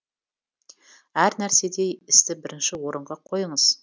әр нәрседе істі бірінші орынға қойыңыз